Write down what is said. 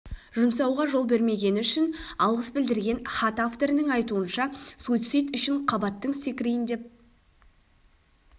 жұмсауға жол бермегені үшін алғыс білдірген хат авторының айтуынша суицид үшін қабаттың секірейін деп